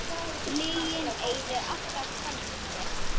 Lygin eyðir alltaf sjálfri sér.